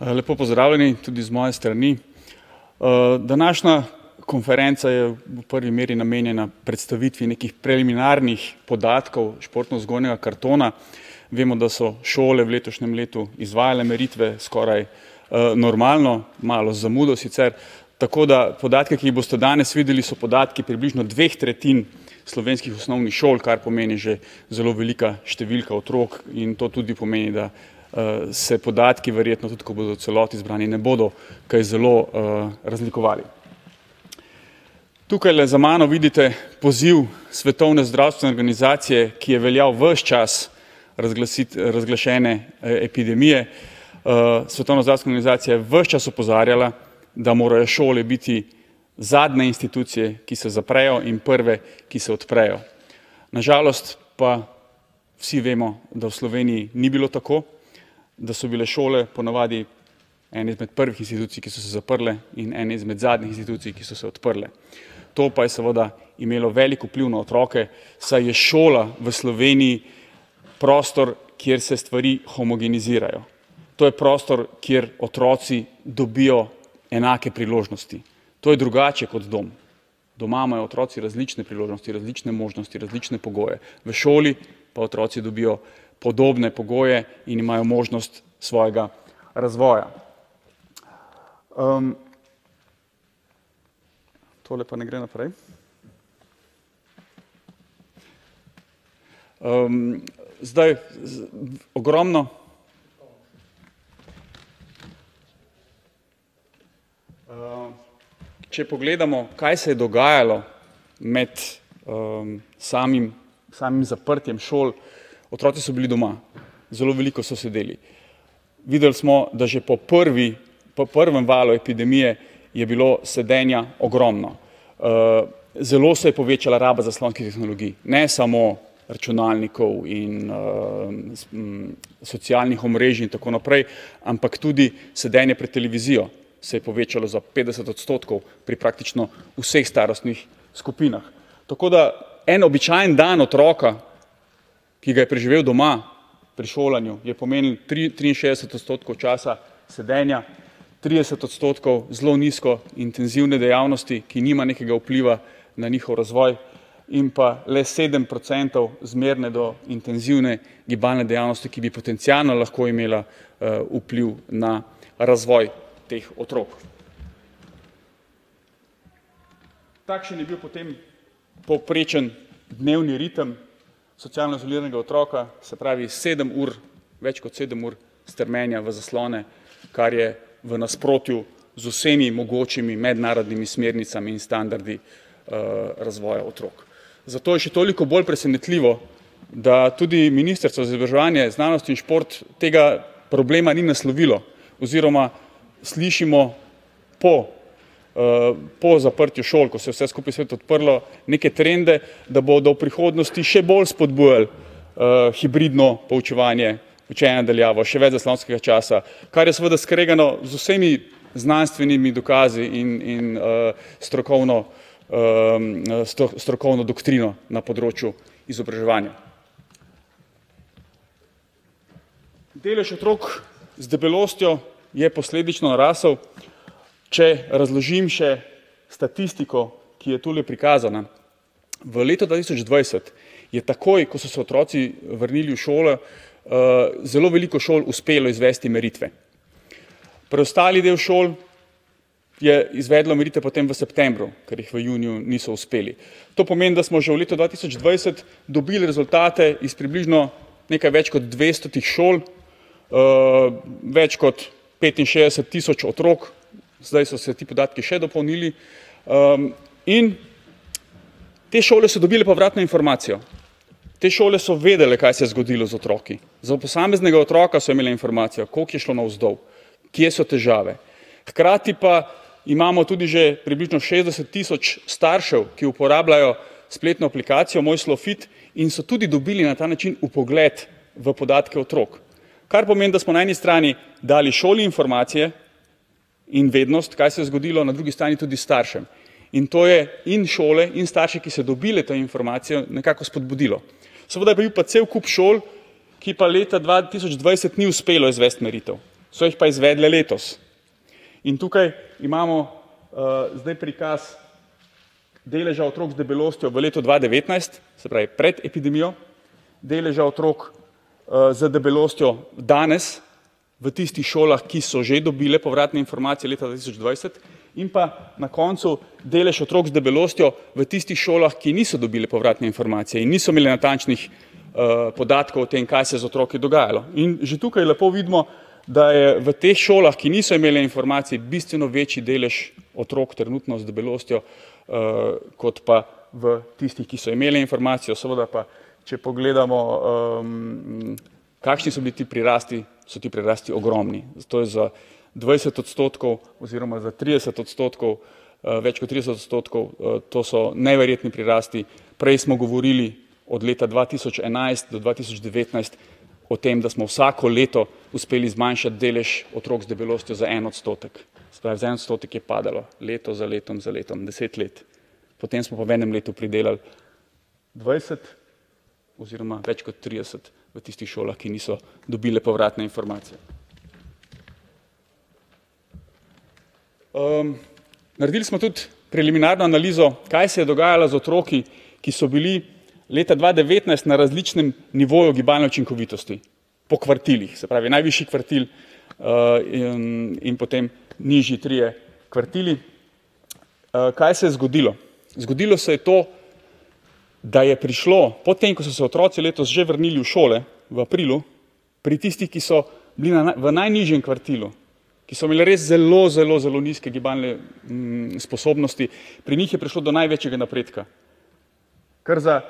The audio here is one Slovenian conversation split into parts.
lepo pozdravljeni tudi z moje strani. današnja konferenca je v prvi meri namenjena predstavitvi nekih preliminarnih podatkov športnovzgojnega kartona. Vemo, da so šole v letošnjem letu izvajale meritve skoraj, normalno, malo z zamudo sicer. Tako da podatki, ki jih boste danes videli, so podatki približno dveh tretjin slovenskih osnovnih šol, kar pomeni že zelo velika številka otrok, in to tudi pomeni, da, se podatki verjetno tudi, ko bodo v celoti zbrani, ne bodo kaj zelo, razlikovali . Tukajle za mano vidite poziv Svetovne zdravstvene organizacije, ki je veljal ves čas razglašene, epidemije. Svetovna zdravstvena organizacija je ves čas opozarjala, da morajo šole biti zadnje institucije, ki se zaprejo, in prve, ki se odprejo. Na žalost pa vsi vemo, da v Sloveniji ni bilo tako, da so bile šole ponavadi ene izmed prvih institucij, ki so se zaprle, in ene izmed zadnjih institucij, ki so se odprle. To pa je seveda imelo velik vpliv na otroke, saj je šola v Sloveniji prostor, kjer se stvari homogenizirajo. To je prostor, kjer otroci dobijo enake priložnosti. To je drugače kot dom. Doma imajo otroci različne priložnosti, različne možnosti, različne pogoje. V šoli pa otroci dobijo podobne pogoje in imajo možnost svojega razvoja. ... Tole pa ne gre naprej. zdaj, ogromno. če pogledamo, kaj se je dogajalo, med, samim, samim zaprtjem šol. Otroci so bili doma, zelo veliko so sedeli, videli smo, da že po prvi, po prvem valu epidemije je bilo sedenja ogromno. zelo se je povečala raba zaslonskih tehnologij, ne samo računalnikov in, socialnih omrežij in tako naprej, ampak tudi sedenje pred televizijo se je povečalo za petdeset odstotkov pri praktično vseh starostnih skupinah. Tako da en običajno dan otroka, ki ga je preživel doma, pri šolanju, je pomenil triinšestdeset odstotkov časa sedenja, trideset odstotkov zelo nizko intenzivne dejavnosti, ki nima nekega vpliva na njihov razvoj. In pa le sedem procentov zmerne do intenzivne gibalne dejavnosti, ki bi potencialno lahko imela, vpliv na razvoj teh otrok. Takšen je bil potem povprečen dnevni ritem socialno izoliranega otroka, se pravi sedem ur, več kot sedem ur strmenja v zaslone, kar je v nasprotju z vsemi mogočimi mednarodnimi smernicami in standardi, razvoja otrok. Zato je še toliko bolj presenetljivo, da tudi ministrstvo za izobraževanje, znanost in šport tega problema ni naslovilo. Oziroma slišimo po, po zaprtju šol, ko se je vse skupaj spet odprlo, neke trende, da bodo v prihodnosti še bolj spodbujali, hibridno poučevanje, učenje na daljavo, še več zaslonskega časa, kar je seveda skregano z vsemi znanstvenimi dokazi in, in, in, strokovno, strokovno doktrino na področju izobraževanja. Delež otrok z debelostjo je posledično rasel, če razložim še statistiko, ki je tule prikazana. V letu dva tisoč dvajset je takoj, ko so se otroci vrnili v šolo, zelo veliko šol uspelo izvesti meritve. Preostali del šol je izvedlo meritve potem v septembru, ker v juniju niso uspeli. To pomeni, da smo že v letu dva tisoč dvajset dobili rezultate iz približno nekaj več kot dvestotih šol, več kot petinšestdeset tisoč otrok, zdaj so se ti podatki še dopolnili. in te šole so dobile povratno informacijo, te šole so vedele, kaj se je zgodilo z otroki. Za posameznega otroka so imeli informacijo, koliko je šlo navzdol, kje so težave, hkrati pa imamo tudi že približno šestdeset tisoč staršev, ki uporabljajo spletno aplikacijo Moj Slofit in so tudi dobili na ta način vpogled v podatke otrok. Kar pomeni, da smo na eni strani dali šoli informacije in vednost, kaj se je zgodilo, na drugi strani tudi staršem. In to je in šole in starše, ki so dobili to informacijo, nekako spodbudilo. Seveda je bil pa cel kup šol, ki pa leta dva tisoč dvajset ni uspelo izvesti meritev. So jih pa izvedle letos. In tukaj imamo, zdaj prikaz deleža otrok z debelostjo v letu dva devetnajst, se pravi pred epidemijo, deleža otrok, z debelostjo danes v tistih šolah, ki so že dobile povratne informacije leta dva tisoč dvajset in pa na koncu delež otrok z debelostjo v tistih šolah, ki niso dobile povratne informacije in niso imeli natančnih, podatkov o tem, kaj se je z otroki dogajalo. In že tukaj lepo vidimo, da je v teh šolah, ki niso imeli informacije, bistveno večji delež otrok trenutno z debelostjo, kot pa v tistih, ki so imeli informacijo seveda pa, če pogledamo, kakšni so bili ti prirasti, so ti prirasti ogromni, zato je z dvajset odstotkov oziroma za trideset odstotkov, več kot trideset odstotkov, to so neverjetni prirasti. Prej smo govorili od leta dva tisoč enajst do dva tisoč devetnajst o tem, da smo vsako leto uspeli zmanjšati delež otrok z debelostjo za en odstotek. Se pravi, za en odstotek je padalo leto za letom za letom deset let. Potem smo pa v enem letu pridelali dvajset oziroma več kot trideset v tistih šolah, ki niso dobile povratne informacije. naredili smo tudi preliminarno analizo, kaj se je dogajalo z otroki, ki so bili leta dva devetnajst na različnem nivoju gibalne učinkovitosti. Po kvartilih, se pravi najvišji kvartil, in in potem nižji trije kvartili. kaj se je zgodilo? Zgodilo se je to, da je prišlo, potem ko so se otroci letos že vrnili v šole v aprilu, pri tistih, ki so bili na v najnižjem kvartilu, ki so imeli res zelo, zelo, zelo nizke gibalne, sposobnosti, pri njih je prišlo do največjega napredka. Kar za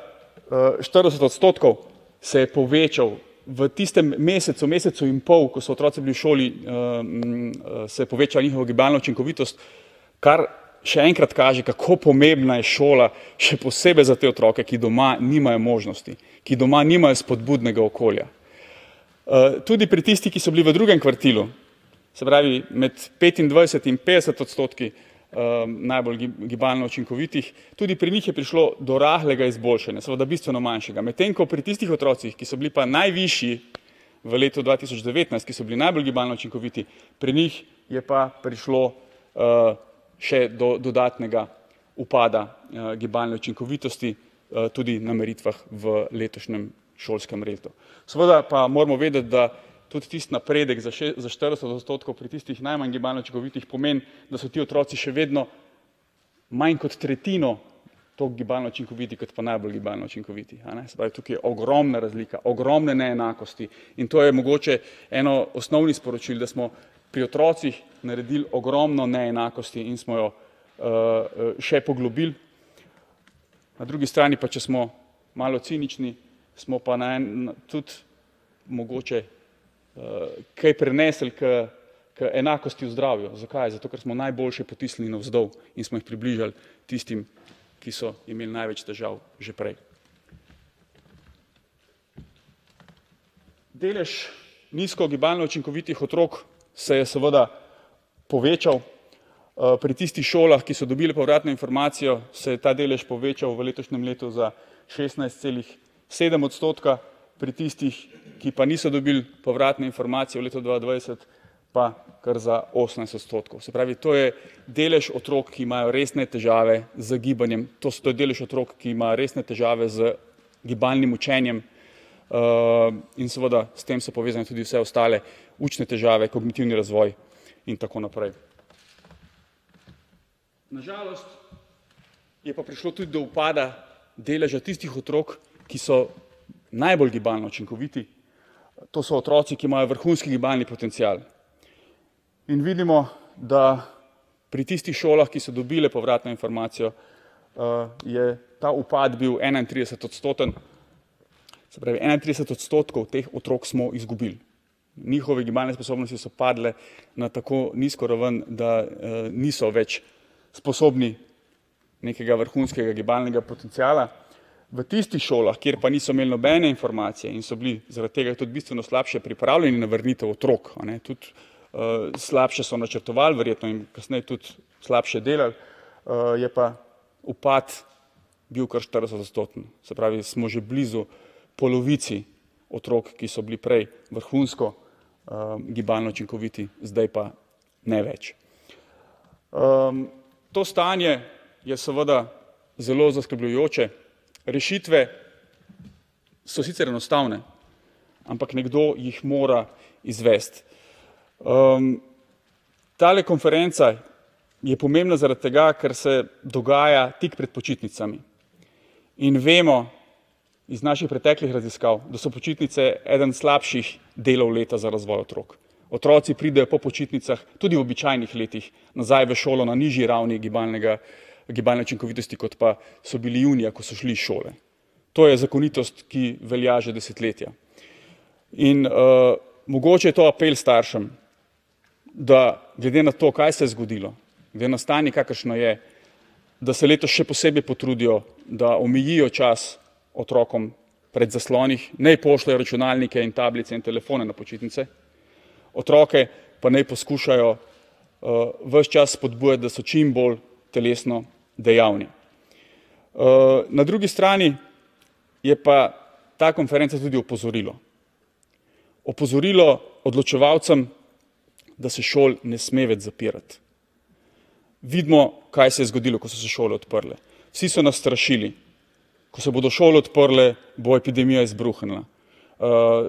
štirideset odstotkov se je povečal v tistem mesecu, mesecu in pol, ko so otroci bili v šoli, se poveča njihova gibalna učinkovitost, kar še enkrat kaže, kako pomembna je šola, še posebej za te otroke, ki doma nimajo možnosti. Ki doma nimajo spodbudnega okolja. tudi pri tistih, ki so bili v drugem kvartilu, se pravi med petindvajset in petdeset odstotki, najbolj gibalno učinkovitih, tudi pri njih je prišlo do rahlega izboljšanja, seveda bistveno manjšega, medtem ko pri tistih otrocih, ki so bili pa najvišji v letu dva tisoč devetnajst, ki so bili najbolj gibalno učinkoviti, pri njih je pa prišlo, še do dodatnega upada, gibalne učinkovitosti tudi na meritvah v letošnjem letu šolskem. Seveda pa moramo vedeti, da tudi tisti napredek za štirideset odstotkov pri tistih najmanj gibalno učinkovitih pomeni, da so ti otroci še vedno manj kot tretjino tako gibalno učinkoviti, kot pa najbolj gibalno učinkoviti, a ne, se pravi, tukaj je ogromna razlika, ogromne neenakosti, in to je mogoče eno osnovnih sporočil, da smo pri otrocih naredili ogromno neenakosti in smo jo, še poglobili. Na drugi strani pa, če smo malo cinični, smo pa na tudi mogoče, kaj prenesli k, k enakosti v zdravju. Zakaj? Zato, ker smo najboljše potisnili navzdol in smo jih približali tistim, ki so imeli največ težav že prej. Delež nizko gibalno učinkovitih otrok se je seveda povečal, pri tistih šolah, ki so dobile povratno informacijo, se je ta delež povečal v letošnjem letu za šestnajst celih sedem odstotka, pri tistih, ki pa niso dobil povratne informacije v letu dva dvajset pa kar za osemdeset odstotkov, se pravi, to je delež otrok, ki imajo resne težave z gibanjem, to so, to je delež otrok, ki ima resne težave z gibalnim učenjem, in seveda s tem so povezane tudi vse ostale učne težave, komunikativni razvoj in tako naprej. Na žalost je pa prišlo tudi do upada deleža tistih otrok, ki so najbolj gibalno učinkoviti. To so otroci, ki imajo vrhunski gibalni potencial, in vidimo, da pri tistih šolah, ki so dobile povratno informacijo, je ta upad bil enaintridesetodstoten, se pravi enaintrideset odstotkov teh otrok smo izgubili. Njihove gibalne sposobnosti so padle na tako nizko raven, da, niso več sposobni nekega vrhunskega gibalnega potenciala. V tistih šolah, kjer pa niso imeli nobene informacije in so bili zaradi tega tudi bistveno slabše pripravljeni na vrnitev otrok, a ne, tudi, slabše so načrtovali verjetno in kasneje tudi slabše delali. je pa upad bil kar štiridesetodstoten, se pravi, smo že blizu polovici otrok, ki so bili prej vrhunsko, gibalno učinkoviti, zdaj pa ne več. to stanje je seveda zelo zaskrbljujoče, rešitve so sicer enostavne. Ampak nekdo jih mora izvesti. tale konferenca je pomembna zaradi tega, ker se dogaja tik pred počitnicami. In vemo iz naših preteklih raziskav, da so počitnice eden slabših delov leta za razvoj otrok. Otroci pridejo po počitnicah tudi v običajnih letih nazaj v šolo na nižji ravni gibalnega gibalne učinkovitosti, kot pa so bili junija, ko so šli iz šole. To je zakonitost, ki velja že desetletja. In, mogoče je to apel staršem, da glede na to, kaj se je zgodilo, glede na stanje, kakršno je, da se letos še posebej potrudijo, da omejijo čas otrokom pred zaslonih, naj pošljejo računalnike in tablice in telefone na počitnice. Otroke pa naj poskušajo, ves čas spodbujati, da so čim bolj telesno dejavni. je pa ta konferenca tudi opozorilo, opozorilo odločevalcem, da se šol ne sme več zapirati. Vidimo, kaj se je zgodilo, ko so se šole odprle. Vsi so nas strašili. Ko se bodo šole odprle, bo epidemija izbruhnila.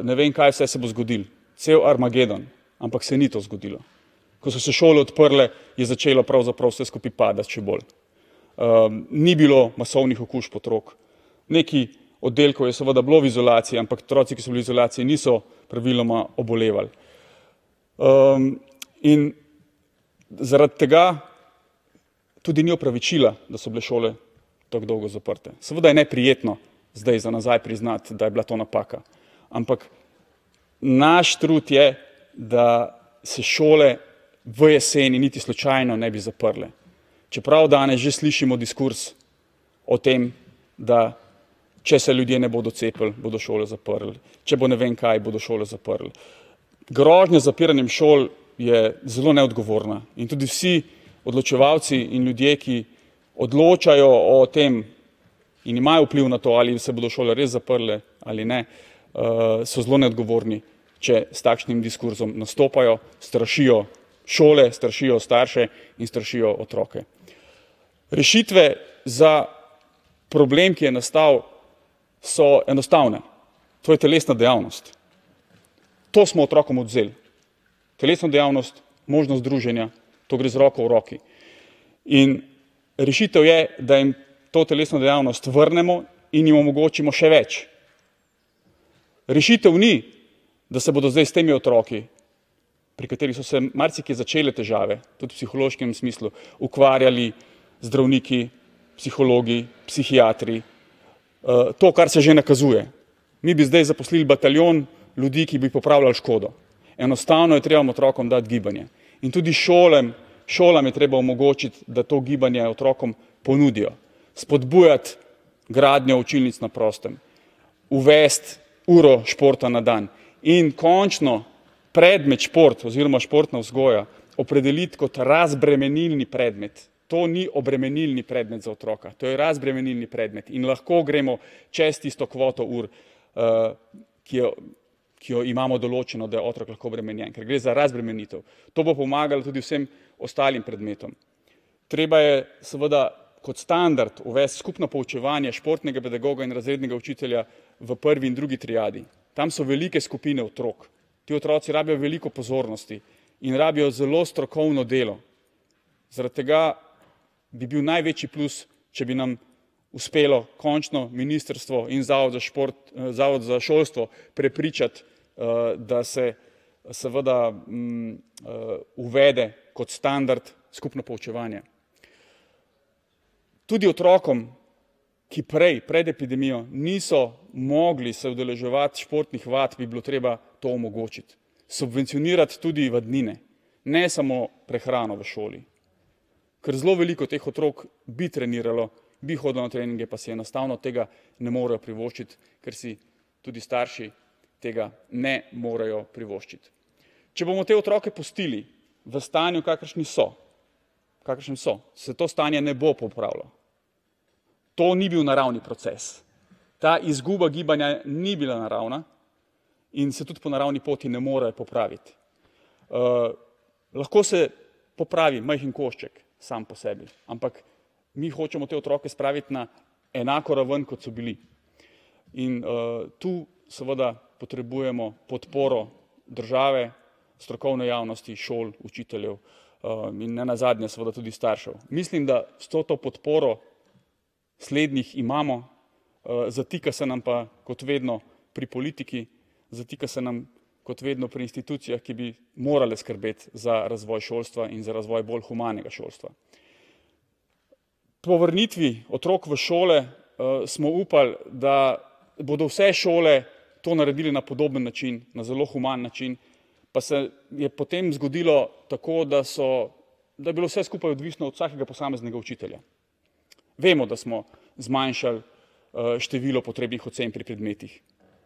ne vem, kaj vse se bo zgodilo, cel armagedon, ampak se ni to zgodilo. Ko so se šole odprle, je začelo pravzaprav vse skupaj padati še bolj. ni bilo masovnih okužb otrok, nekaj oddelkov je seveda bilo v izolaciji, ampak otroci, ki so bili v izolaciji, niso praviloma obolevali. in zaradi tega tudi ni opravičila, da so bile šole tako dolgo zaprte, seveda je neprijetno, zdaj za nazaj priznati, da je bila to napaka, ampak naš trud je, da se šole v jeseni niti slučajno ne bi zaprle. Čeprav danes že slišimo diskurz o tem, da če se ljudje ne bodo cepili, bodo šole zaprli. Če bo ne vem kaj, bodo šole zaprli. Grožnje z zapiranjem šol je zelo neodgovorna in tudi vsi odločevalci in ljudje, ki odločajo o tem in imajo vpliv na to, ali se bodo šole res zaprle ali ne. so zelo neodgovorni, če s takšnim diskurzom nastopajo, strašijo šole, strašijo starše in strašijo otroke. Rešitve za problem, ki je nastal, so enostavne. To je telesna dejavnost, to smo otrokom odvzeli, telesno dejavnost, možnost druženja, to gre z roko v roki. In rešitev je, da jim to telesno dejavnost vrnemo in jim omogočimo še več. Rešitev ni, da se bodo zdaj s temi otroki, pri katerih so se marsikje začele težave tudi v psihološkem smislu, ukvarjali zdravniki, psihologi, psihiatri. to, kar se že nakazuje. Mi bi zdaj zaposlili bataljon ljudi, ki bi popravljali škodo. Enostavno je treba otrokom dati gibanje. In tudi šolam, šolam je treba omogočiti, da to gibanje otrokom, ponudijo. Spodbujati gradnjo učilnic na prostem. Uvesti uro športa na dan. In končno predmet Šport oziroma Športna vzgoja opredeliti kot razbremenilni predmet. To ni obremenilni predmet za otroka, to je razbremenilni predmet in lahko gremo čez tisto kvoto ur, ki jo, ki jo imamo določeno, da je otrok lahko obremenjen, ker gre za razbremenitev. To bo pomagalo tudi vsem ostalim predmetom. Treba je seveda kot standard uvesti skupno poučevanje športne pedagoga in razrednega učitelja v prvi in drugi triadi. Tam so velike skupine otrok. Ti otroci rabijo veliko pozornosti in rabijo zelo strokovno delo, zaradi tega bi bil največji plus, če bi nam uspelo končno ministrstvo in zavod za šport, zavod za šolstvo prepričati, da se seveda, uvede kot standard skupno poučevanje. Tudi otrokom, ki prej pred epidemijo niso mogli se udeleževati športnih vadb, bi bilo treba to omogočiti. Subvencionirati tudi vadnine. Ne samo prehrano v šoli. Ker zelo veliko teh otrok bi treniralo, bi hodilo na treninge, pa si enostavno tega ne morejo privoščiti, ker si tudi starši tega ne morejo privoščiti. Če bomo te otroke pustili v stanju, kakršni so, kakršnem so, se to stanje ne bo popravilo. To ni bil naravni proces, ta izguba gibanja ni bila naravna in se tudi po naravni poti ne more popraviti. lahko se popravi majhen košček sam po sebi, ampak mi hočemo te otroke spraviti na enako raven, kot so bili. In, tu seveda potrebujemo podporo države, strokovne javnosti, šol, učiteljev, in nenazadnje seveda tudi staršev. Mislim da vso to podporo slednjih imamo, zatika se nam pa kot vedno pri politiki, zatika se nam kot vedno pri institucijah, ki bi morale skrbeti za razvoj šolstva in za razvoj bolj humanega šolstva. Po vrnitvi otrok v šolo, smo upali, da bodo vse šole to naredile na podoben način, na zelo human način. Pa se je potem zgodilo tako, da so da je bilo vse skupaj odvisno od vsakega posameznega učitelja. Vemo, da smo zmanjšali, število potrebnih ocen pri predmetih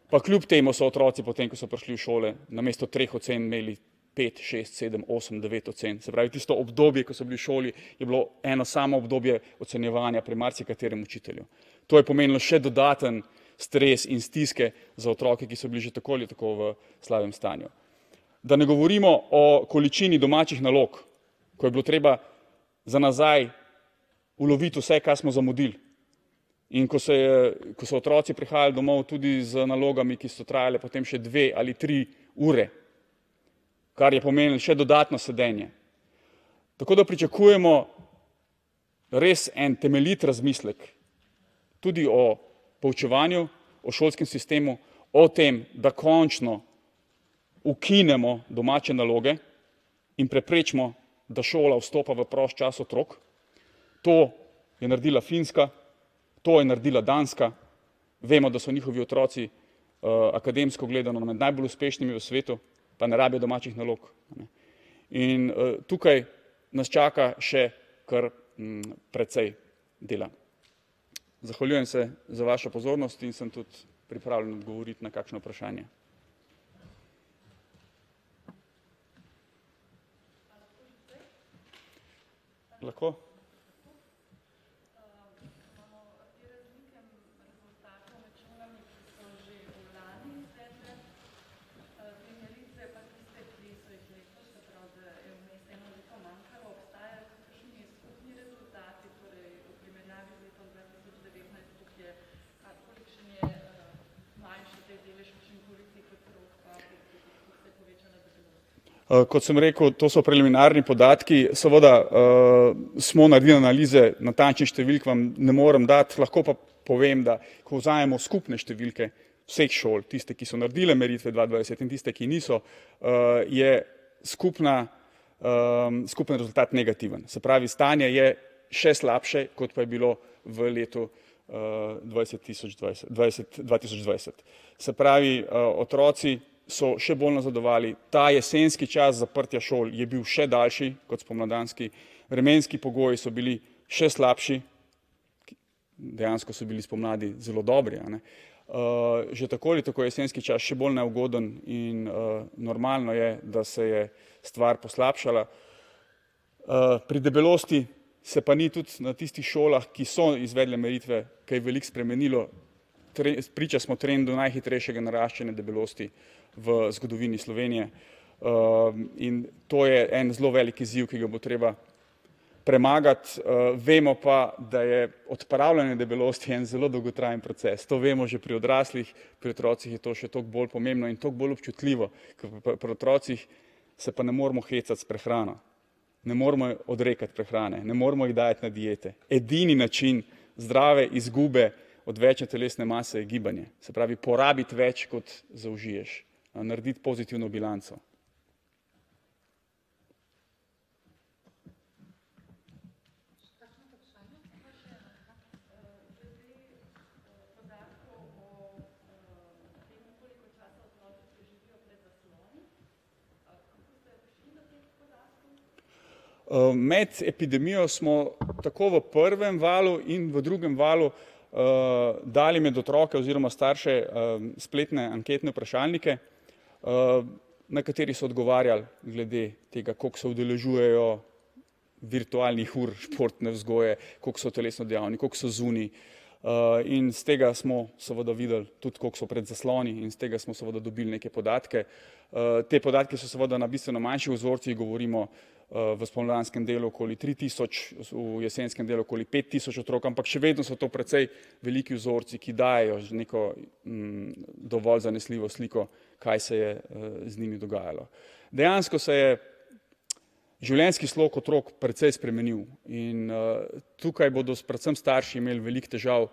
pa kljub temu so otroci, potem ko so prišli v šole, namesto treh ocen imeli pet, šest, sedem, osem, devet ocen, se pravi, tisto obdobje, ko so bili v šoli je bilo eno samo obdobje ocenjevanja pri marsikaterem učitelju. To je pomenilo še dodaten stres in stiske za otroke, ki so bili že tako ali tako v slabem stanju. Da ne govorimo o količini domačih nalog. Ko je bilo treba za nazaj uloviti vse, kaj smo zamudili, in ko se je, ko so otroci prihajali domov tudi z nalogami, ki so trajale potem še dve ali tri ure. Kar je pomenilo še dodatno sedenje. Tako da pričakujemo res en temeljit razmislek tudi o poučevanju, o šolskem sistemu, o tem, da končno ukinemo domače naloge in preprečimo, da šola vstopa v prosti čas otrok, to je naredila Finska, to je naredila Danska, vemo, da so njihovi otroci, akademsko gledano med najbolj uspešnimi v svetu. Pa ne rabijo domačih nalog, ne. In, tukaj nas čaka še kar, precej dela. Zahvaljujem se za vašo pozornost in sem tudi pripravljen odgovoriti na kakšno vprašanje. Lahko. kot sem rekel to so preliminarni podatki, seveda, smo naredili analize, natančnih številk vam ne morem dati, lahko pa povem, da ko vzamemo skupne številke vseh šol, tiste, ki so naredile meritve dva dvajset in tiste, ki niso, je skupna, skupni rezultat negativen. Se pravi, stanje je še slabše, kot pa je bilo v letu, dvajset tisoč dvajset, dvajset, dva tisoč dvajset. Se pravi, otroci so še bolj nazadovali, ta jesenski čas zaprtja šol je bil še daljši kot spomladanski. Vremenski pogoji so bili še slabši, dejansko so bili spomladi zelo dobri, a ne. že tako ali tako je jesenski čas še bolj neugoden in, normalno je, da se je stvar poslabšala. pri debelosti se pa ni tudi na tistih šolah, ki so izvedle meritve, kaj veliko spremenilo. Torej priča smo trendu najhitrejšega naraščanja debelosti v zgodovini Slovenije. in to je en zelo velik izziv, ki ga bo treba premagati, vemo pa, da je odpravljanje debelosti en zelo dolgotrajen proces, to vemo že pri odraslih, pri otrocih je to še toliko bolj pomembno in toliko bolj občutljivo. Ker pri otrocih se pa ne moremo hecati s prehrano. Ne moremo odrekati prehrane, ne moremo jih dajati na diete, edini način zdrave izgube odvečne telesne mase je gibanje, se pravi, porabiti več kot zaužiješ. Pa narediti pozitivno bilanco. med epidemijo smo tako v prvem valu in v drugem dali med otroke oziroma starše, spletne anketne vprašalnike, na katerih so odgovarjali glede tega, koliko se udeležujejo virtualnih ur športne vzgoje, koliko so telesno dejavni, koliko so zunaj, in s tega smo seveda videli tudi, koliko so pred zasloni in s tega smo seveda dobili neke podatke, ti podatki so seveda na bistveno manjših vzorcih, govorimo, v spomladanskem delu okoli tri tisoč v jesenskem delu okoli pet tisoč otrok, ampak še vedno so to precej veliki vzorci, ki dajejo neko, dovolj zanesljivo sliko, kaj se je, z njimi dogajalo. Dejansko se je življenjski slog otrok precej spremenil. In, tukaj bodo predvsem starši imeli veliko težav,